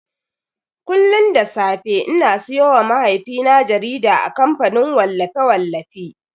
Kullun da safe ina siyowa mahaifina jarida a kamfanin wallafe-wallafi.